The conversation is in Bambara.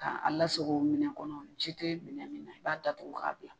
Ka a la sago minɛ kɔnɔ ji tɛ minɛ min na i b'a datugu k'a bila.